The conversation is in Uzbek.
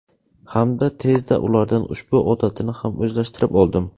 Hamda tezda ulardan ushbu odatini ham o‘zlashtirib oldim.